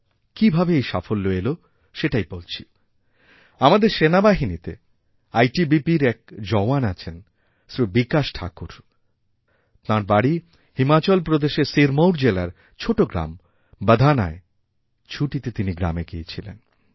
কীভাবে এই সাফল্য এলো সেটাই বলছি আমাদেরসেনাবাহিনীতে আইটিবিপির এক জওয়ান আছেন শ্রী বিকাশ ঠাকুর তাঁর বাড়ি হিমাচলপ্রদেশের সিরমৌর জেলার ছোটো গ্রাম বধানায় ছুটিতে তিনি গ্রামে গিয়েছিলেন